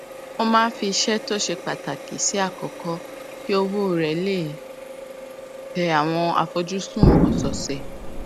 ó máa ń fi àwọn iṣé tó ṣe pàtàkì sípò àkókó kí ọwó rè lè tẹ àwọn àfojúsùn òsòòsè